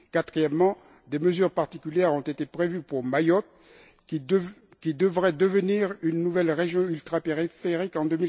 Quatrièmement, des mesures particulières ont été prévues pour Mayotte, qui devrait devenir une nouvelle région ultrapériphérique en